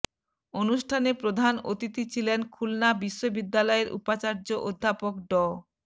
অনুষ্ঠানে প্রধান অতিথি ছিলেন খুলনা বিশ্ববিদ্যালয়ের উপাচার্য অধ্যাপক ড